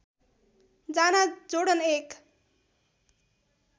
जाना जोर्डन एक